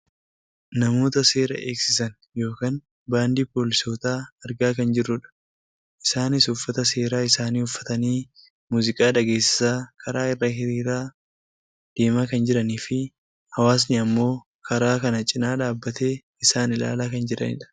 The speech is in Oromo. Namoota seera eegsisan yookaan baandii poolisoota argaa kan jirrudha isaanis uffata seeraa isaanii uffatanii muuziqaa dhageessisaa karaa irra hiriiraan deemaa kan jiraniifi hawaasni ammoo karaa kana cinaa dhaabbatee isaan ilaalaa kan jiranidha.